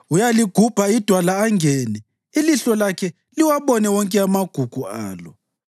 Uyaligubha idwala angene; ilihlo lakhe liwabone wonke amagugu alo.